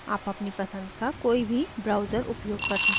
आप अपनी पसंद का कोई भी browser उपयोग कर सकते हैं